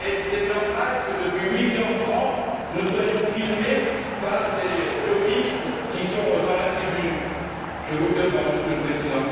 Est il normal que depuis 8h30, nous soyons filmés par des lobbyistes qui sont dans la tribune? Je vous le demande, Monsieur le Président.